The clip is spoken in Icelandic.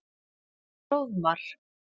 Hróðmar